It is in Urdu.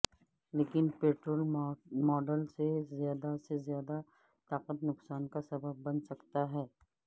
لیکن پٹرول ماڈل سے زیادہ سے زیادہ طاقت نقصان کا سبب بن سکتا ہے